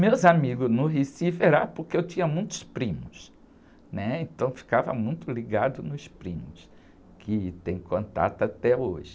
Meus amigos no Recife eram porque eu tinha muitos primos, né? Então ficava muito ligado nos primos, que tenho contato até hoje.